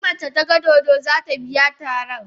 In mace ta gan dodo, za ta biya tarar.